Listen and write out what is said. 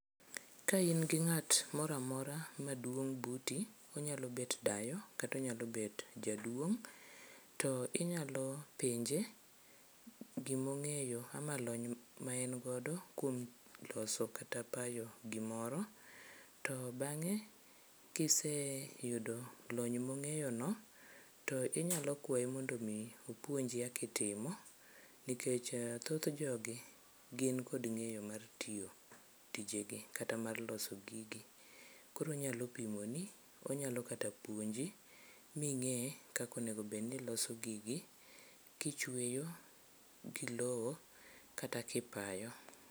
Ka in gi ng'at moro amora maduong' buti onyalo bet dayo kata onyalo bet jaduong' to inyalo penje gimong'eyo ama lony ma en godo kuom loso kata payo gimoro, to bang'e kiseyudo lony mong'eyono to inyalo kwayo maondo opuonji kakitimo nikech thoth jogi gin kod ng'eyo mar tiyo tijegi kata mar loso gigi. Koro onyalo pimoni onyalo kata puonji ming'e kaka onegobed ni iloso gigi kichweyo gi lowo kata kipayo.